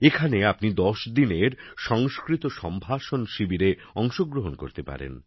এখানে আপনি ১০ দিনের সংস্কৃত সম্ভাষণ শিবিরে অংশগ্রহণ করতে পারেন